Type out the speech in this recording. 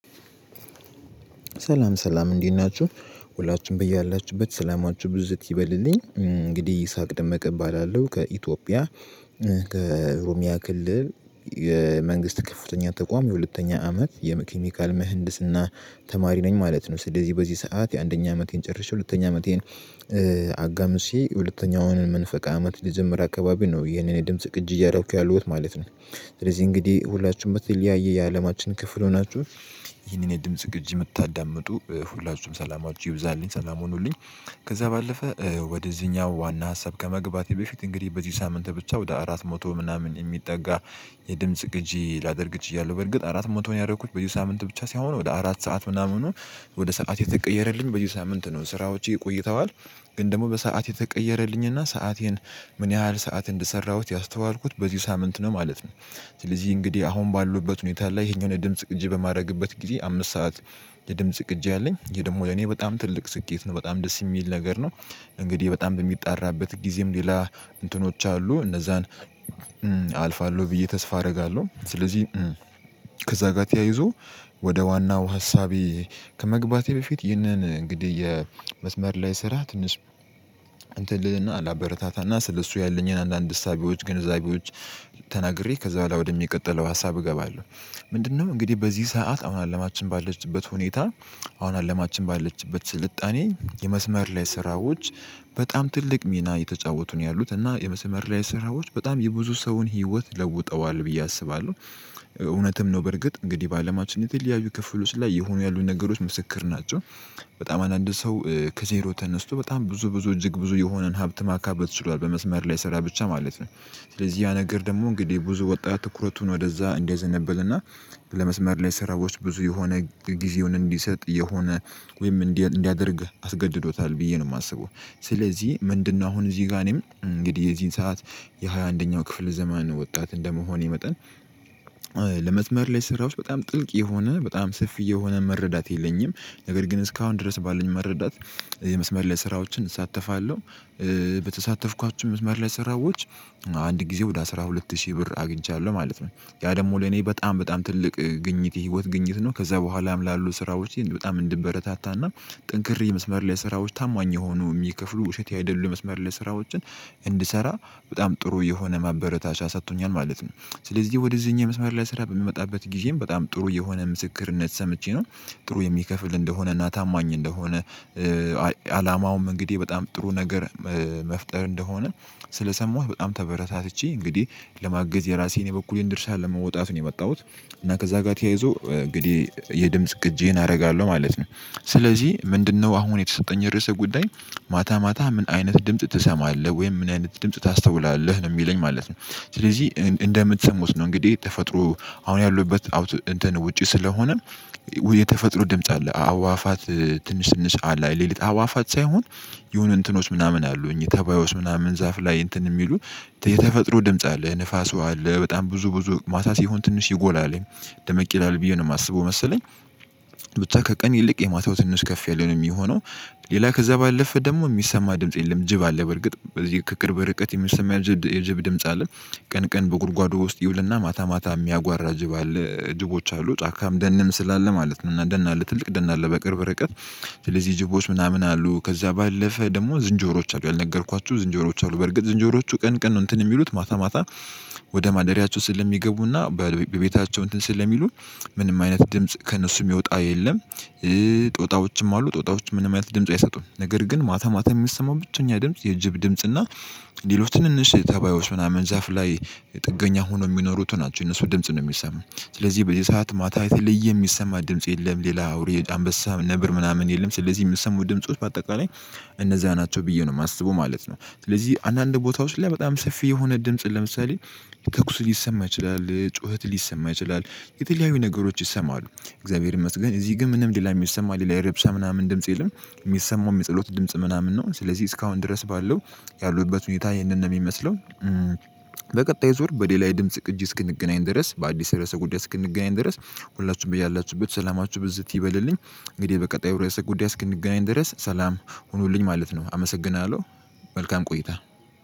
ሰላም ሰላም እንዲህ ናችሁ። ሁላችንም በየ ያላችሁበት ሰላማችሁ ብዝት ይበልልኝ እንግዲህ ኢሳቅ ደመቀ እቀባላለሁ ከኢትዮጵያ ከኦረሚያ ክልል የመንግስት ከፍተኛ ተቋም የሁለተኛ አመት የኬሚካል ምህንድስና ተማሪ ነኝ ማለት ነው። ስለዚህ በዚህ ሰዓት የአንደኛ አመቴን ጨርሼ ሁለተኛ አመቴን። አጋምሴ ሁለተኛውን መንፈቅ አመት ሊጀምር አካባቢ ነው። ይሄን የኔን የድምጽ ቅጂ እያደረኩ ያለሁት ማለት ነው። ስለዚህ እንግዲህ ሁላችንም በተለያየ የአለማችን ክፍል ሆናችሁ ይህንን የድምጽ ቅጂ የምታዳምጡ ሁላችሁም ሰላማችሁ ይብዛልኝ ሰላም ሁኑልኝ። ከዛ ባለፈ ወደዚህኛው ዋና ሀሳብ ከመግባቴ በፊት እንግዲህ በዚህ ሳምንት ብቻ ወደ አራት መቶ ምናምን የሚጠጋ የድምጽ ቅጂ ላደርግ ችያለሁ። በርግጥ አራት መቶን ያደረኩት በዚህ ሳምንት ብቻ ሳይሆን ወደ አራት ሰዓት ምናምን ነው። ወደ ሰዓት የተቀየረልኝ በዚህ ሳምንት ነው ስራዎች ይቆይተዋል። ግን ደግሞ በሰአት የተቀየረልኝና ሰአቴን ምን ያህል ሰዓት እንደሰራሁት ያስተዋልኩት በዚህ ሳምንት ነው ማለት ነው። ስለዚህ እንግዲህ አሁን ባሉበት ሁኔታ ላይ ይሄን ድምጽ ቅጂ በማድረግበት ጊዜ አምስት ሰዓት የድምጽ ቅጂ አለኝ። ይሄ ደግሞ ለኔ በጣም ትልቅ ስኬት ነው በጣም ደስ የሚል ነገር ነው። እንግዲህ በጣም በሚጣራበት ጊዜም ሌላ እንትኖች አሉ እነዛን አልፋለሁ ብዬ ተስፋ አደረጋለሁ። ስለዚህ ከዛ ጋር ተያይዞ ወደ ዋናው ሀሳቤ ከመግባቴ በፊት ይህንን እንግዲህ የመስመር ላይ ስራ ትንሽ ልልና ላበረታታና ስለሱ ያለኝን አንዳንድ እሳቤዎች ግንዛቤዎች ተናግሬ ከዛ በኋላ ወደሚቀጥለው ሀሳብ እገባለሁ። ምንድነው? እንግዲህ በዚህ ሰዓት አሁን አለማችን ባለችበት ሁኔታ አሁን አለማችን ባለችበት ስልጣኔ የመስመር ላይ ስራዎች በጣም ትልቅ ሚና የተጫወቱ ነው ያሉት እና የመሰመር ላይ ስራዎች በጣም የብዙ ሰውን ህይወት ለውጠዋል ብዬ አስባለሁ። እውነትም ነው በርግጥ እንግዲህ በአለማችን የተለያዩ ክፍል ላይ የሆኑ ያሉ ነገሮች ምስክር ናቸው። በጣም አንዳ አንድ ሰው ከዜሮ ተነስቶ በጣም ብዙ ብዙ እጅግ ብዙ የሆነን ሀብት ማካበት ችሏል በመስመር ላይ ስራ ብቻ ማለት ነው። ስለዚህ ያ ነገር ደግሞ እንግዲህ ብዙ ወጣት ትኩረቱን ወደዛ እንዲያዘነብልና ለመስመር ላይ ስራዎች ብዙ የሆነ ጊዜውን እንዲሰጥ የሆነ ወይም እንዲያደርግ አስገድዶታል ብዬ ነው የማስበው። ስለዚህ ምንድነው? አሁን እዚህ ጋር እኔም እንግዲህ የዚህን ሰዓት የሃያ ኣንደኛ ክፍለ ዘመን ወጣት እንደመሆን መጠን ለመዝመር ላይ ስራዎች በጣም ጥልቅ የሆነ በጣም ስፍይ የሆነ መረዳት የለኝም። ነገር ግን እስካሁን ድረስ ባለን መረዳት። የመስመር ላይ ስራዎችን እሳተፋለሁ። በተሳተፍኳችሁ መስመር ላይ ሰራዊቶች አንድ ጊዜ ወደ አስራ ሁለት ሺህ ብር አግኝቻለሁ ማለት ነው ያ ደግሞ ለኔ በጣም በጣም ትልቅ ግኝት የህይወት ግኝት ነው። ከዛ በኋላም ላሉ ስራዎች በጣም እንድበረታታና ጠንክሬ የመስመር ላይ ስራዎች ታማኝ የሆኑ የሚከፍሉ ውሸት አይደሉ የመስመር ላይ ስራዎችን እንድሰራ በጣም ጥሩ የሆነ ማበረታቻ ሰጥቶኛል ማለት ነው። ስለዚህ ወደዚህኛው የመስመር ላይ ስራ በምመጣበት ጊዜም በጣም ጥሩ የሆነ ምስክርነት ሰምቼ ነው። ጥሩ የሚከፍል እንደሆነ እና ታማኝ እንደሆነ እንግዲህ በጣም ጥሩ ነገር መፍጠር እንደሆነ ስለሰማሁ በጣም ተበረታትቼ እንግዲህ ለማገዝ የራሴን የበኩሌን ድርሻ ለመውጣት ነው የመጣሁት። እና ከዛ ጋር ተያይዞ እንግዲህ የድምጽ ቅጄን አደርጋለሁ ማለት ነው። ስለዚህ ምንድነው? አሁን የተሰጠኝ ርዕሰ ጉዳይ ማታ ማታ ምን አይነት ድምጽ ትሰማለህ ወይም ምን አይነት ድምጽ ታስተውላለህ ነው የሚለኝ ማለት ነው። ስለዚህ እንደምትሰሙት ነው እንግዲህ ተፈጥሮ አሁን ያሉበት እንትን ውጪ ስለሆነ። የተፈጥሮ ድምጽ አለ አእዋፋት ትንሽ ትንሽ አለይ ሌሊት አዋፋት ሳይሆን የሆነ እንትኖች ምናምን አሉኝ ተባዮች ምናምን ዛፍ ላይ እንትን የሚሉ የተፈጥሮ ድምጽ አለ ንፋስ አለ በጣም ብዙ ብዙ ማታ ሲሆን ትንሽ ይጎላል። ደመቅ ይላል ብዬ ነው የማስበው መሰለኝ። ብታ ከቀን ይልቅ የማታው ትንሽ ከፍ ያለ ነው የሚሆነው። ሌላ ከዛ ባለፈ ደግሞ የሚሰማ ድምጽ የለም ጅብ አለ በርግጥ በዚህ ከቅርብ ርቀት የሚሰማ የጅብ ድምጽ አለ። ቀን ቀን በጉድጓዱ ውስጥ ይውልና ማታ ማታ የሚያጓራ ጅብ አለ ጅቦች አሉ ጫካም ደንም ስላለ ማለት ነው። እና ደን አለ ትልቅ ደን አለ በቅርብ ርቀት። ስለዚህ ጅቦች ምናምን አሉ ከዛ ባለፈ ደግሞ ዝንጀሮዎች አሉ ያልነገርኳችሁ ዝንጀሮዎች አሉ በርግጥ ዝንጀሮዎቹ ቀን ቀን ነው እንትን የሚሉት ማታ ማታ ወደ ማደሪያቸው ስለሚገቡና በቤታቸው እንትን ስለሚሉ። ምንም አይነት ድምጽ ከእነሱም ሚወጣ የለም። ጦጣዎችም አሉ ጦጣዎችም ምንም አይነት ድምጽ አይሰጡም ነገር ግን ማታ ማታ የሚሰማው ብቸኛ ድምጽ የጅብ ድምጽ እና ሌሎች ትንንሽ ተባዮች ምናምን ዛፍ ላይ። ጥገኛ ሆኖ የሚኖሩት ናቸው የነሱ ድምጽ ነው የሚሰማኝ። ስለዚህ በዚ ሰዓት ማታ የተለየ የሚሰማ ድምጽ የለም። ሌላ አውሬ አንበሳ ነብር ምናምን የለም። ስለዚህ የሚሰሙ ድምጾች በአጠቃላይ እነዛ ናቸው ብዬ ነው የማስበው ማለት ነው። ስለዚህ አንዳንድ ቦታዎች ላይ በጣም ሰፊ የሆነ ድምጽን ለምሳሌ ተኩስ ሊሰማ ይችላል ጩኸት ሊሰማ ይችላል። የተለያዩ ነገሮች ይሰማሉ። እግዚአብሔር ይመስገን እዚህ ግን ምንም ሌላ የሚሰማ ሌላ የረብሳ ምናምን ድምጽ የለም። የሚሰማው የሚጸሎት ድምጽ ምናምን ነው። ስለዚህ እስካሁን ድረስ ባለው ያሉበት ሁኔታ ይህንን ነው የሚመስለው። በቀጣይ ዙር በሌላ የድምጽ ቅጂ እስክንገናኝ ድረስ በአዲስ ርዕሰ ጉዳይ እስክንገናኝ ድረስ። ሁላችሁም ብያላችሁበት ሰላማችሁ ብዝት ይበልልኝ። እንግዲህ በቀጣዩ ራስ ጉዳይ እስክንገናኝ ድረስ ሰላም ሁኑልኝ ማለት ነው አመሰግናለሁ። መልካም ቆይታ።